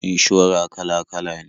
Inshora kala-kala ne.